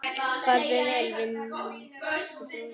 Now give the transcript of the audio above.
Farðu vel, vinur og bróðir!